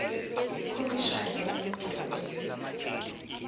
ikhomishana yamalungelo esintu